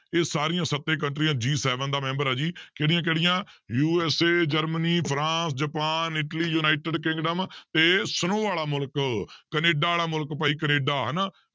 ਇਹ ਸਾਰੀਆਂ ਸੱਤੇ ਕੰਟਰੀਆਂ G seven ਦਾ ਮੈਂਬਰ ਹੈ ਜੀ ਕਿਹੜੀਆਂ ਕਿਹੜੀਆਂ USA ਜਰਮਨੀ, ਫਰਾਂਸ, ਜਪਾਨ, ਇਲਟੀ, ਯੂਨਾਇਟਡ ਕਿੰਗਡਮ ਤੇ snow ਵਾਲਾ ਮੁਲਕ ਕੈਨੇਡਾ ਵਾਲਾ ਮੁਲਕ ਭਾਈ ਕੈਨੇਡਾ ਹਨਾ